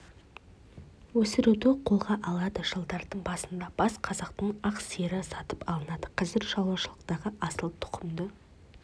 өсіруді қолға алады жылдардың басында бас қазақтың ақ сиыры сатып алынады қазір шаруашылықтардағы асыл тұқымды